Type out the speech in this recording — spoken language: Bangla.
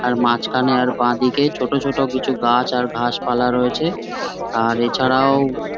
আর মাঝখানে আর বাঁদিকে ছোটছোট কিছু গাছ আর ঘাসপালা রয়েছে আর এছাড়াও--